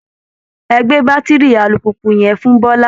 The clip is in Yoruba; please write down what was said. Ẹ gbé bátiri alùpùpù yẹn fún Bọ́lá!